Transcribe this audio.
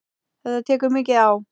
Þetta tekur mikið á.